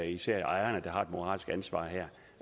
især ejerne der har et moralsk ansvar her